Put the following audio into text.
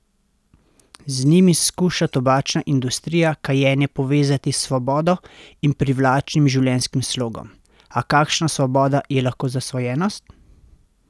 Z njimi skuša tobačna industrija kajenje povezati s svobodo in privlačnim življenjskim slogom, a kakšna svoboda je lahko zasvojenost?